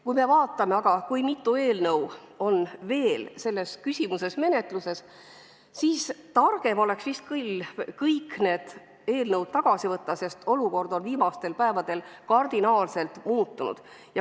Kui aga vaatame, mitu eelnõu on selles küsimuses veel menetluses, siis targem oleks vist küll kõik need eelnõud tagasi võtta, sest viimastel päevadel on olukord kardinaalselt muutunud.